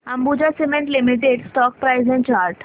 Ambuja cement limited stock price and chart